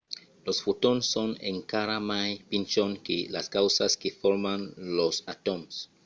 los fotons son encara mai pichons que las causas que forman los atòms!